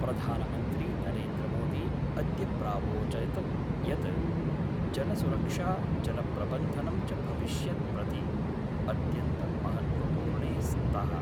प्रधानमन्त्री नरेन्द्रमोदी अद्य प्रावोचत् यत् जलसुरक्षा जलप्रबन्धनं च भविष्यत् प्रति अत्यन्तं महत्त्वपूर्णे स्तः।